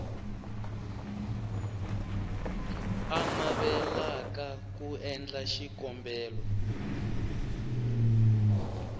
a navelaka ku endla xikombelo